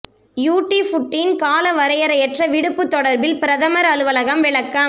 யூடி ஃபூட்டின் கால வரையறையற்ற விடுப்பு தொடர்பில் பிரதமர் அலுவலகம் விளக்கம்